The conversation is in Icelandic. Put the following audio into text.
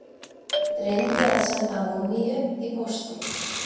Reyndi að senda múmíu í pósti